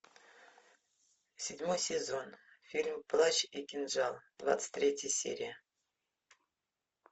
седьмой сезон фильм плащ и кинжал двадцать третья серия